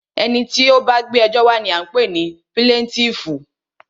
Ẹni tí o bá gbé ẹjọ́ wa ní a ń pé ní píláǹtìífú.